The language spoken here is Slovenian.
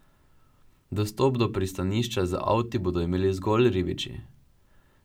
Dostop do pristanišča z avti bodo imeli zgolj ribiči.